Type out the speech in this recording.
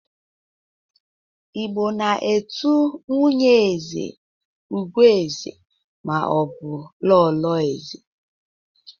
Igbo na-etu nwunye eze "Ugoeze ' ma ọ bụ 'lolo eze'